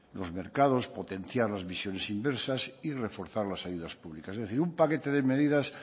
los mercados potenciar las visiones inversas y reforzar las ayudas públicas es decir un paquete de medidas